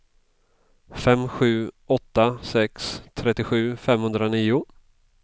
fem sju åtta sex trettiosju femhundranio